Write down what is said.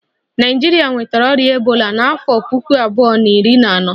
Naijiria nwetara ọrịa ebola n'afọ puku abuo na iri na ano